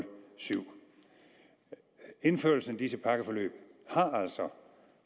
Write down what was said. syv indførelsen af disse pakkeforløb har altså